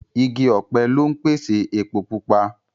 Igi ọ̀pẹ lọ ń pèsè epo Pupa